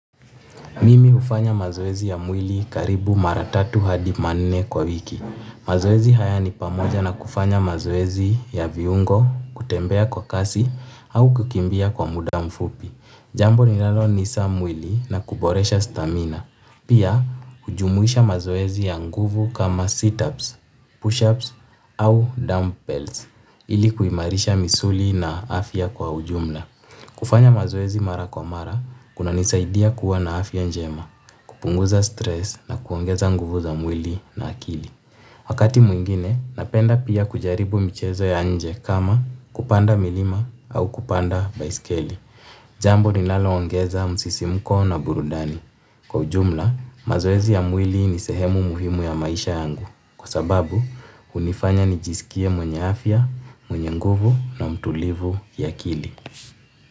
Mimi hufanya mazoezi ya mwili karibu mara tatu hadi manne kwa wiki. Mazoezi haya ni pamoja na kufanya mazoezi ya viungo, kutembea kwa kasi, au kukimbia kwa muda mfupi. Jambo linalolainisha mwili na kuboresha stamina. Pia, hujumuisha mazoezi ya nguvu kama sit-ups, push-ups, au dumbbells, ili kuimarisha misuli na afya kwa ujumla. Kufanya mazoezi mara kwa mara, kunanisaidia kuwa na afya njema, kupunguza stress na kuongeza nguvu za mwili na akili. Wakati mwingine, napenda pia kujaribu michezo ya nje kama kupanda milima au kupanda baiskeli. Jambo ninaloongeza msisimko na burudani. Kwa ujumla, mazoezi ya mwili ni sehemu muhimu ya maisha yangu. Kwa sababu, hunifanya nijisikie mwenye afya, mwenye nguvu na mtulivu ya akili.